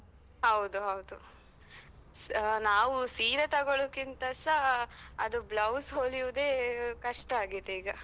ಹೌದು ಹೌದು ಅಹ್ ನಾವು ಸೀರೆ ತಗೊಳುದಕ್ಕಿಂತಸಾ ಅದು blouse ಹೊಲಿವುದೇ ಕಷ್ಟ ಆಗಿದೆ ಈಗ.